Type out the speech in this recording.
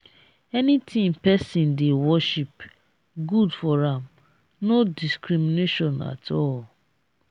anything pesin dey worship good for am no discrimination at all.